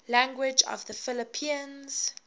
languages of the philippines